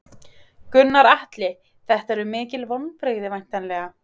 Gunnar Atli: Þetta eru mikil vonbrigði væntanlega?